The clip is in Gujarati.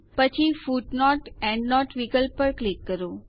પછી footnoteએન્ડનોટ વિકલ્પ પર ક્લિક કરો